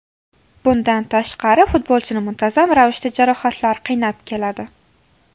Bundan tashqari futbolchini muntazam ravishda jarohatlar qiynab keladi.